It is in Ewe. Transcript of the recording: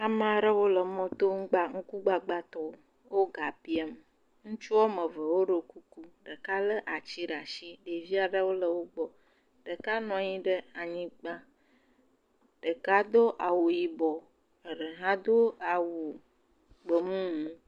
Ame aɖewo le mɔ to ŋkugbagbatɔwo wo ga biam ŋutsuwo ame eve ɖɔ kuku ɖeka le ati ɖe asi eye ɖevi aɖewo le wogbɔ ɖeka nɔ anyi ɖe anyigba ɖeka do awu yibɔ eɖe ha do awu gbemumu